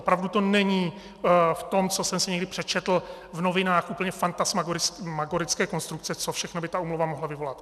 Opravdu to není v tom, co jsem si někdy přečetl v novinách, úplně fantasmagorické konstrukce, co všechno by ta úmluva mohla vyvolat.